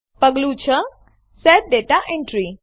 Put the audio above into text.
પગલું ૬Set દાતા એન્ટ્રી